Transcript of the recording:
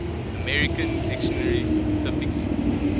american dictionaries typically